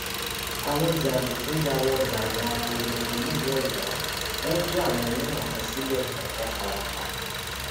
àwọn jàǹdùkú yà wọ ọgbà ẹwọn abọlongo nílùú ọyọ wọn tí àwọn ẹlẹwọn kan sílé ọpọ fara pa